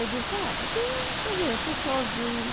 Ele disse, ah, porque, você vê, eu estou sozinho.